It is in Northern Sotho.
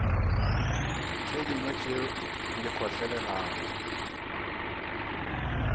tše dingwe tše di kgotlelelago